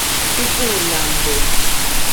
Tupu na Mgbe